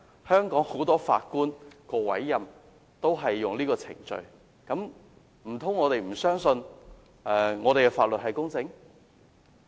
香港很多法官的委任也是採用這個程序，難道我們不相信香港的法律是公正的嗎？